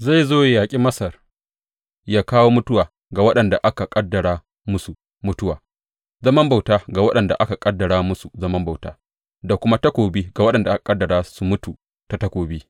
Zai zo ya yaƙi Masar, ya kawo mutuwa ga waɗanda aka ƙaddara musu mutuwa, zaman bauta ga waɗanda aka ƙaddara musu zaman bauta, da kuma takobi ga waɗanda aka ƙaddara su mutu ta takobi.